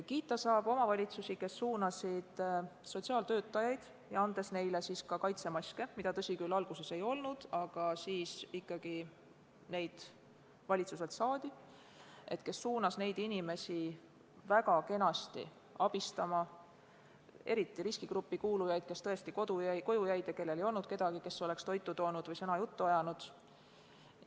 Kiita saab omavalitsusi, kes suunasid sotsiaaltöötajaid – andes neile kaitsemaske, mida, tõsi küll, alguses ei olnud, aga siis valitsuselt ikkagi saadi – väga kenasti abistama just riskigruppi kuulujaid, neid, kes koju jäid ja kellel ei olnud kedagi, kes oleks toitu toonud või sõnakese juttu ajanud.